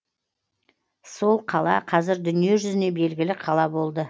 сол қала қазір дүние жүзіне белгілі қала болды